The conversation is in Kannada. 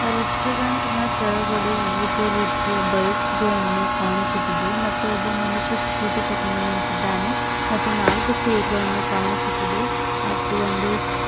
ರೆಸ್ಟೊರೆಂಟ್ ನ ತೆಳಗಡೆ ವಿವಿಧ ರೀತಿಯ ಬೈಕ್ಸ್ ಗಳನ್ನು ಕಾಣಿಸುತ್ತಿದೆ ಮತ್ತು ಒಬ್ಬ ಮನುಷ ಸ್ಕೂಟಿ ತುಗೊಂಡು ನಿಂತಿದ್ದಾನೆ ಮತ್ತು ನಾಲ್ಕು ಚೇರ್ ಗಳನ್ನು ಕಾಣಿಸುತ್ತಿದೆ ಮತ್ತು ಒಂದು --